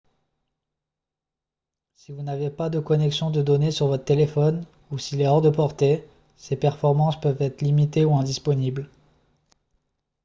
si vous n'avez pas de connexion de données sur votre téléphone ou s'il est hors de portée ses performances peuvent être limitées ou indisponibles